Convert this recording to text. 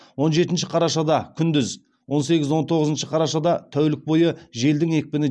он жетінші қарашада күндіз он сегіз он тоғызыншы қарашада тәулік бойы желдің екпіні